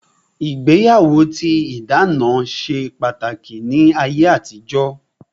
Ìgbéyàwó tí ìdáná ṣe pàtàkì ní ayé àtijó